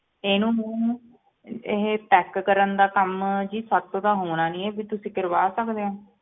ਇਹਨੂੰ ਇਹ pack ਕਰਨ ਦਾ ਕੰਮ ਜੀ ਸਾਡੇ ਤੋਂ ਤਾਂ ਹੋਣਾ ਨੀ ਹੈ, ਵੀ ਤੁਸੀ ਕਰਵਾ ਸਕਦੇ ਹੋ?